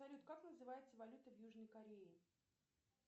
салют как называется валюта в южной корее